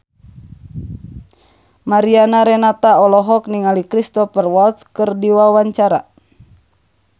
Mariana Renata olohok ningali Cristhoper Waltz keur diwawancara